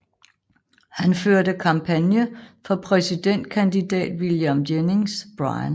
Han førte kampagne for præsidentkandidat William Jennings Bryan